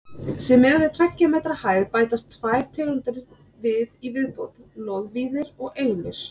Sé miðað við tveggja metra hæð bætast tvær tegundir við í viðbót: loðvíðir og einir.